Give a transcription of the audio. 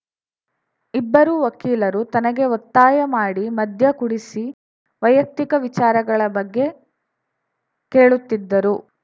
ಇಬ್ಬರು ವಕೀಲರು ತನಗೆ ಒತ್ತಾಯ ಮಾಡಿ ಮದ್ಯ ಕುಡಿಸಿ ವೈಯಕ್ತಿಕ ವಿಚಾರಗಳ ಬಗ್ಗೆ ಕೇಳುತ್ತಿದ್ದರು